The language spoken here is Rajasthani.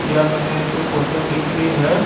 यह मैंने एक फोटो दिख री है।